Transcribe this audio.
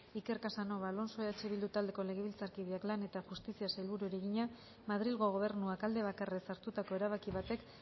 iker casanova alonso eh bildu taldeko legebiltzarkideak lan eta justiziako sailburuari egina madrilgo gobernuak alde bakarrez hartutako erabaki batek